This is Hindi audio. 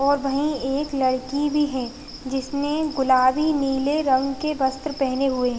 और वहीं एक लड़की भी है जिसने गुलाबी नीले रंग के वस्त्र पहने हुए हैं।